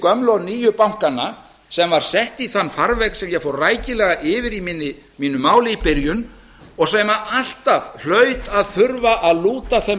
gömlu og nýju bankanna sem var sett í þann farveg sem ég fór rækilega yfir í mínu máli í byrjun og sem alltaf hlaut að þurfa að lúta þeim